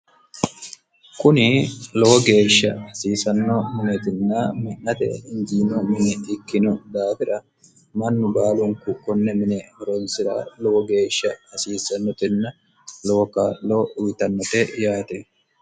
kuni lowo geeshsha hasiisanno muneetinna mi'nate injiino mine ikkino daafira mannu baalunku konne mine ronsi'ra lowo geeshsha hasiisannotinna lowo kaa'loo uyitannote yaate